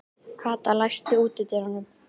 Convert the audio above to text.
Kata, læstu útidyrunum.